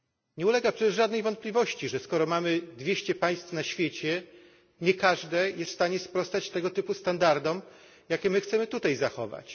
Nie ulega przecież żadnej wątpliwości, że skoro mamy 200 państw na świecie, nie każde jest w stanie sprostać tego typu standardom, jakie my chcemy tutaj zachować.